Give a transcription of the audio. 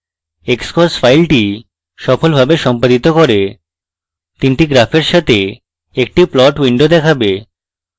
xcos file সফলভাবে সম্পাদিত করে তিনটি graphs সাথে একটি plot window দেখাবে